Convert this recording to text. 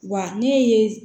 Wa ne ye